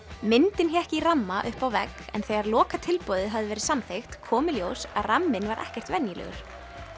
myndin hékk í ramma uppi á vegg en þegar hafði verið samþykkt kom í ljós að ramminn var ekkert venjulegur